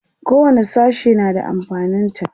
kowani sashe na da amfanin ta